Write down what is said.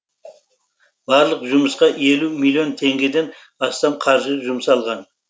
барлық жұмысқа елу миллион теңгеден астам қаржы жұмсалған